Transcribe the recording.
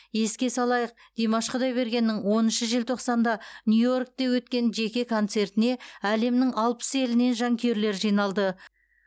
еске салайық димаш құдайбергеннің оныншы желтоқсанда нью йоркте өткен жеке концертіне әлемнің алпыс елінен жанкүйерлер жиналды